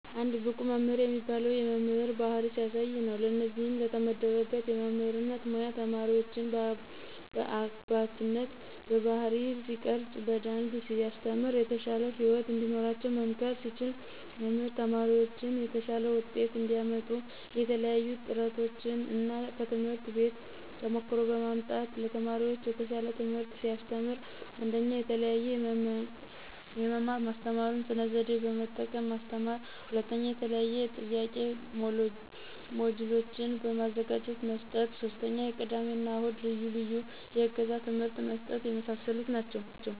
አንድ ብቁ መምህር የሚባለው የመምህር ባህሪ ሲያሳይ ነው። ለእነዚህም ለተመደበበት የመምህርነት ሙያ ተማሪዎችን በአባትነት ባህሪይ ሲቀርፅ። በደንብ ሲያስተምር። የተሻለ ህይወት እንዲኖራቸው መምከር ሲችል። መምህር ተማሪዎችን የተሻለ ውጤት እንዲያመጡ የተለያዪ ጥረቶችን እና ከትምህርት ቤት ተሞክሮ በማምጣት ለተማሪዎች የተሻል ትምህርት ሲያስተምር። 1ኞ፦ የተለዬዬ የመማር ማስተማሩን ስነ ዘዴ በመጠቀም ማስተማር 2ኞ፦ የተለያዬ የጥያቂ ሞጅሎችን በማዘጋጀት መስጠት 3ኞ፦ የቅዳሜ እና እሁድ ልዪ ልዬ የእገዛ ትምህርት መስጠት የመሳሰሉ ናቸው።